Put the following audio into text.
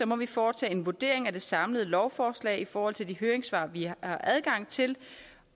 må vi foretage en vurdering af det samlede lovforslag i forhold til de høringssvar vi har adgang til